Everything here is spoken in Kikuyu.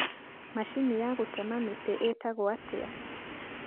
macinĩ ya gũtema mĩtĩ ĩĩtagwo atĩa?